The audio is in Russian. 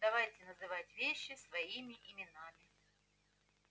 давайте называть вещи своими именами